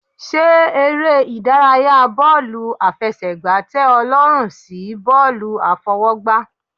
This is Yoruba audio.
Ṣé eré ìdárayá bọ́ọ̀lù àfẹsẹ̀gbá tẹ ọ lọ́rùn sí bọ́ọ̀lù àfọwọ́gbá.